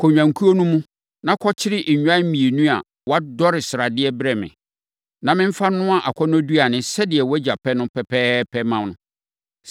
Kɔ nnwankuo no mu, na kɔkyere nnwan mmienu a wɔadɔre sradeɛ brɛ me, na memfa nnoa akɔnnɔduane, sɛdeɛ wʼagya pɛ no pɛpɛɛpɛ mma no.